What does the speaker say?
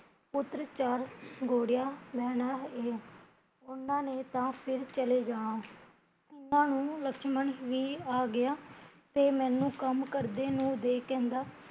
ਪੁੱਤਰ ਚਾਰ ਗੋੜਿਆ ਲੈਣਾ ਇਹ ਉਹਨਾਂ ਨੇ ਤਾਂ ਫਿਰ ਚਲੇ ਜਾਣਾ ਓਹਨਾਂ ਨੂ ਲਕਸ਼ਮਣ ਵੀ ਆ ਗਿਆ ਤੇ ਮੈਂਨੂੰ ਕੰਮ ਕਰਦੇ ਨੂ ਦੇਖ ਕਹਿੰਦਾ